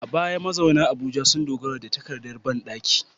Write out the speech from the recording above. A baya, mazauna Abuja sun dogara da takardar bandaki